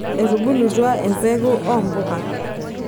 etubulutua empeku ompuka